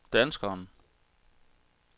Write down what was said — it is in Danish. danskeren